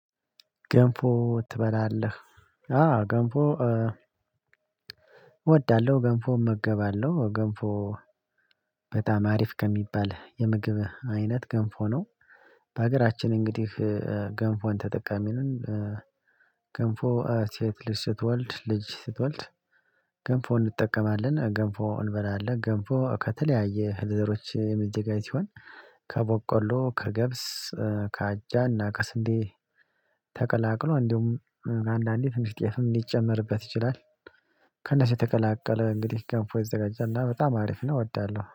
ገንፎ ትበላለህ? አዎ ገንፎ እወዳለሁ ገንፎ እመገባለሁ ገንፎ በጣም አሪፍ ከሚባል የምግብ አይነት ገንፎ ነው። በሀገራችን እንግዲህ ገንፎን ተጠቃሚ ነው። ገንፎ ሴት ልጅ ስትወልድ ልጅ ስትወልድ ገንፎ እንጠቀማለን ገንፎ እንበላለን ገንፎ ከተለያየ እህል ዘሮች የሚደዘጋጅ ሲሆን። ከቦቆሎ ከገብስ ከአጃና ከስንዴ ተቀላቅሎ እንዲሁም አንዳንዴ ትንሽ ጥየፍም ሊጨመርበት ይችላል። ከነሱ የተቀላቀለ እንግዲህ ገንፎ ይዘጋጃልና በጣም አሪፍ ነው። እወዳለሁ